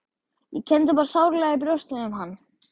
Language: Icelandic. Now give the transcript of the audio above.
Ég kenndi bara sárlega í brjósti um hann.